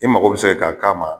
I mago bɛ se ka k'a ma.